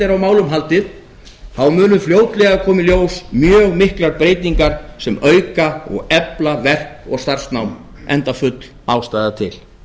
er á málum haldið muni fljótlega koma í ljós mjög miklar breytingar sem auka og efla verk og starfsnám enda full ástæða til